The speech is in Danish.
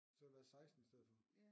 Så har vi været 16 i stedet for